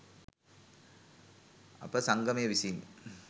අප සංගමය විසින්